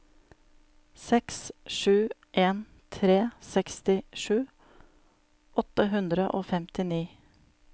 seks sju en tre sekstisju åtte hundre og femtini